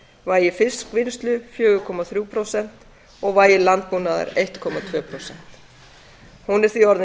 vægi fiskvinnslu fjóra komma þrjú prósent og vægi landbúnaðar eins komma tvö prósent hún er því orðin